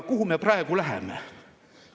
Kuhu me praegu läheme?